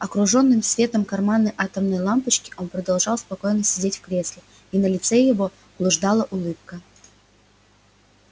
окружённым светом карманной атомной лампочки он продолжал спокойно сидеть в кресле и на лице его блуждала улыбка